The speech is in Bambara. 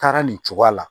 Taara nin cogoya la